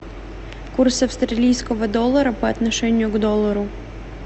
курс австралийского доллара по отношению к доллару